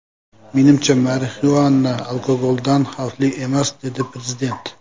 Menimcha, marixuana alkogoldan xavfli emas”, dedi prezident.